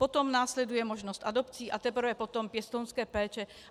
Potom následuje možnost adopcí a teprve potom pěstounské péče.